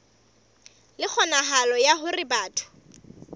le kgonahalo ya hore batho